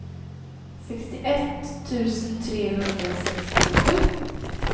sextioett tusen trehundrasextiosju